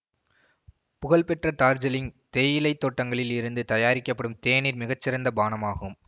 புகழ்பெற்ற டார்ஜீலிங் தேயிலை தோட்டங்களில் இருந்து தயாரிக்கப்படும் தேநீர் மிகச்சிறந்த பானம் ஆகும்